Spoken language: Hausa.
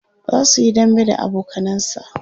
zasuyi dambe da abokanansa